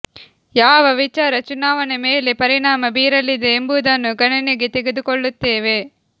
ಯಾವ ವಿಚಾರ ಚುನಾವಣೆ ಮೇಲೆ ಪರಿಣಾಮ ಬೀರಲಿದೆ ಎಂಬುದನ್ನು ಗಣನೆಗೆ ತೆಗೆದುಕೊಳ್ಳುತ್ತೇವೆ